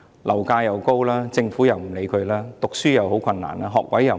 樓價高，政府不理會他們，讀書很困難，學位又不夠。